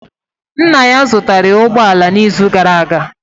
Nna ya zụtara ya ụgbọ ala n'izu gara aga